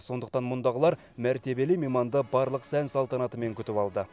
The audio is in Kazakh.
сондықтан мұндағылар мәртебелі мейманды барлық сән салтанатымен күтіп алды